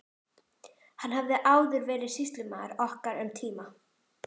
Hann hafði áður verið sýslumaður okkar um tíma.